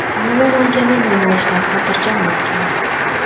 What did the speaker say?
Umuman olganda, namoyishlar xotirjam o‘tgan.